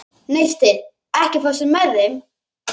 Neisti, ekki fórstu með þeim?